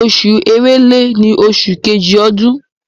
Oṣù Èrèlè ni oṣù Kejì ọdún.